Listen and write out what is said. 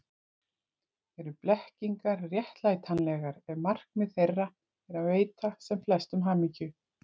Eru blekkingar réttlætanlegar ef markmið þeirra er að veita sem flestum hamingju?